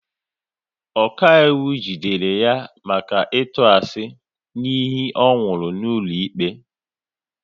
Ọkaiwu jidere ya maka ịtụ asị n'iyi ọ nwụrụ n'ụlọikpe